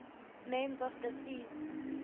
names of the seas